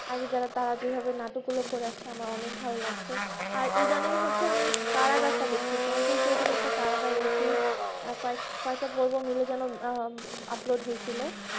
আগে যারা তার তারই নাটক গুলা করেছে আমার অনেক ভালো লাগছে আর eitherning হচ্ছে আমি কারাগার তা দেখি চঞ্চল চৌধুরী এর একটা কারাগার web series আর কয়েকটা বলবো মাইল যেন upload